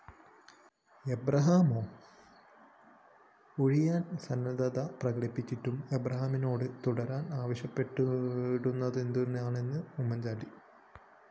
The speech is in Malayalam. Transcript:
എബ്രഹാമോ? ഒഴിയാന്‍ സന്നദ്ധത പ്രകടിപ്പിച്ചിട്ടും എബ്രാഹാമിനോട് തുടരാന്‍ ആവശ്യപ്പെട്ടതെന്തുമാണെന്ന് ഉമ്മന്‍ചാണ്ടി